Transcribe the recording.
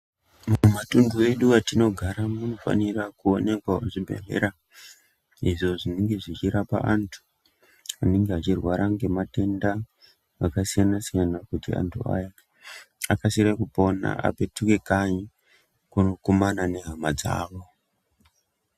Mumatumhu mwedu matinogara munofanirwe kuonekwa zvibhedhlera, izvo zvinenge zvichirapa antu anenge achirwara ngematenda akasiyana-siyana kuti antu aya akasire kupona aende kanyi kunokumana nehama dzawo.